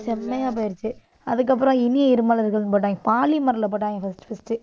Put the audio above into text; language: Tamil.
செம்மையா போயிருச்சு. அதுக்கப்புறம், இனிய இருமலர்கள்ன்னு போட்டாங்க. பாலிமர்ல போட்டாங்க first first